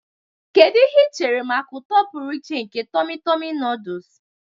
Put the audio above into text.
Kedu ihe ị chere maka ụtọ pụrụ iche nke Tummy tummy noodles?